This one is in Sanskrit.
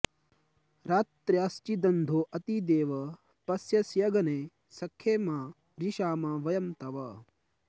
रात्र्याश्चिदन्धो अति देव पश्यस्यग्ने सख्ये मा रिषामा वयं तव